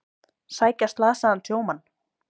Sækja slasaðan sjómann